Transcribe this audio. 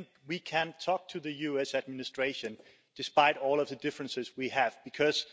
I think we can talk to the US administration, despite all of the differences we have, because